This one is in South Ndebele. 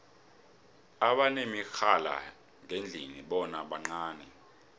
abanemirhala yangendlini bona bancani